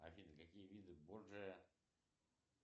афина какие виды борджия